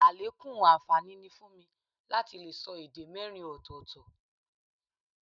Àlékún àǹfààní ni fún mi láti lè sọ èdè mẹ́rin ọ̀tọ̀ọ̀tọ̀